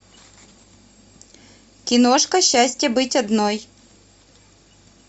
киношка счастье быть одной